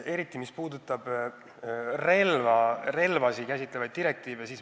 Eriti puudutasid need relvasid käsitlevaid direktiive.